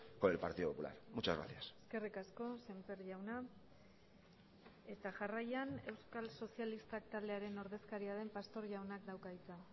con el partido popular muchas gracias eskerrik asko semper jauna eta jarraian euskal sozialistak taldearen ordezkaria den pastor jaunak dauka hitza